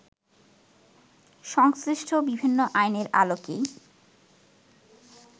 সংশ্লিষ্ট বিভিন্ন আইনের আলোকেই